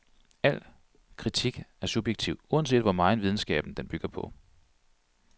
Al kritik er subjektiv, uanset hvor megen videnskab den bygger på.